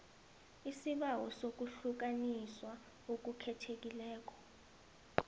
isibawo sokuhlukaniswa okukhethekileko